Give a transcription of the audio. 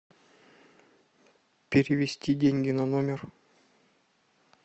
перевести деньги на номер